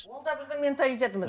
ол да біздің менталитетіміз